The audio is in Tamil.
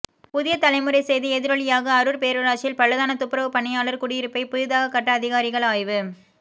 புதிய தலைமுறை செய்தி எதிரொலியாக அரூர் பேரூராட்சியில் பழுதான துப்புரவு பணியாளர் குடியிருப்பை புதிதாக கட்ட அதிகாரிகள் ஆய்வு